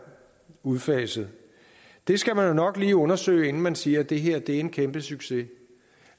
udfaset det skal man jo nok lige undersøge inden man siger at det her er en kæmpe succes